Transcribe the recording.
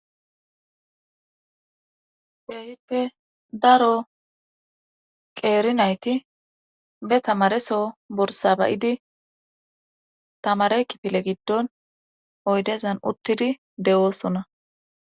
Keehippe daro qeeri nayti be tamareso borsaba7idi tamare kifile giddon oydezan uttidi de7oosuna.